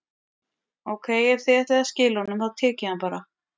Ókei, ef þið ætlið að skila honum, þá tek ég hann bara.